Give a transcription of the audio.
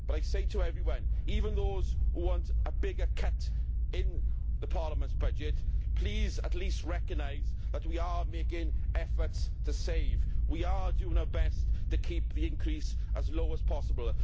But, I say to everyone, even those who want a bigger cut in Parliament's budget please at least recognise that we are making efforts to save and are doing our best to keep the increase as low as possible.